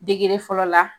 Degeli fɔlɔ la